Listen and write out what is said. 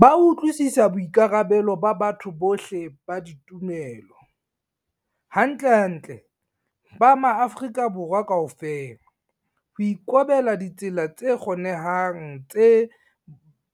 Ba utlwisisa boikarabelo ba batho bohle ba ditumelo - hantlentle ba maAfrika Borwa kaofela - ho ikobela ditsela tse kgonehang tse